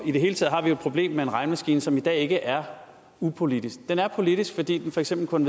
i det hele taget har vi jo et problem med en regnemaskine som i dag ikke er upolitisk den er politisk fordi den for eksempel kun